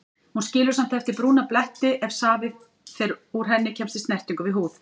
Hún skilur samt eftir brúna bletti ef safi úr henni kemst í snertingu við húð.